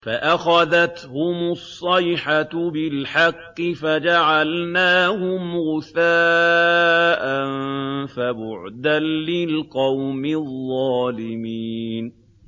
فَأَخَذَتْهُمُ الصَّيْحَةُ بِالْحَقِّ فَجَعَلْنَاهُمْ غُثَاءً ۚ فَبُعْدًا لِّلْقَوْمِ الظَّالِمِينَ